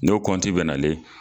N'o kɔnti bɛ nalen.